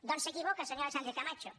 doncs s’equivoca senyora sánchez camacho